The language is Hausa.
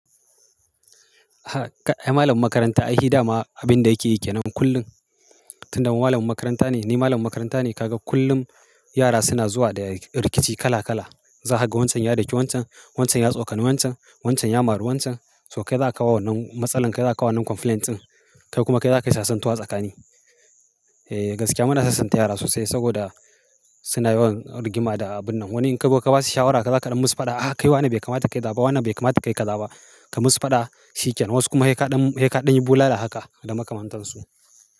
Aha ai malamin makaranta ai shi da ma abin da yake yi ke nan kullum. Tun da malamin makaranta ne, ni malamin makaranta ne ka ga kullum yara suna zuwa da rikici kala kala. Za kaga wancan ya daki wancan, wancan ya tsokani wancan, wancan ya mari wancan. To kai za ka kawo wannan matsalan, kai za ka kawo wannan complaint ɗin, kai kuma kai za ka yi sassantuwa tsakanin. Eh gaskiya muna sassanta yara sosai saboda suna yawan rigima da abin nan. Wani in ka ba su shawara kai za kaɗan musu faɗa. "A kai wane bai kamata ka yi kazaba, wane bai kamata ka yi kaza ba." Ka musu faɗa shikenan. Wasu kuma sai kaɗan, sai kaɗan yi bulala haka da makamantan su.